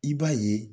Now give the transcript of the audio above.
I b'a ye